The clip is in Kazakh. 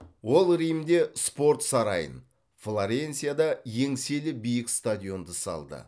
ол римде спорт сарайын флоренцияда еңселі биік стадионды салды